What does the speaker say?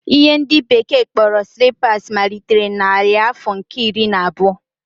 Ihe ndi bekee kporo slippers malitere na narị afọ nke iri na abuo